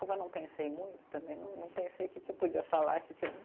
Como eu não pensei muito também, não não pensei o que que podia falar, o que que eu não